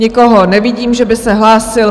Nikoho nevidím, že by se hlásil.